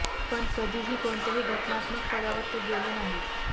पण कधीही कोणत्याही घटनात्मक पदावर ते गेले नाही